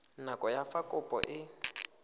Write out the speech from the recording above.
nako ya fa kopo e